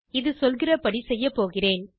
இது சொல்கிறபடி செய்யப் போகிறேன்